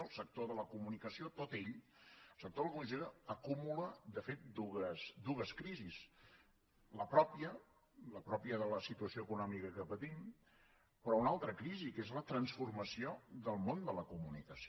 el sector de la comunicació tot ell acumula de fet dues crisis la pròpia de la situació econòmica que patim però una altra crisi que és la transformació del món de la comunicació